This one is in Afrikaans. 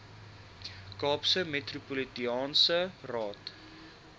kaapse metropolitaanse raad